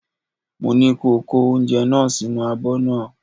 Mo ní ko kó oúnjẹ náà sínú abọ́ náà!